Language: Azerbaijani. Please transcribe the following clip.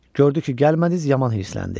Gördü ki, gəlmədiniz, yaman hirsləndi.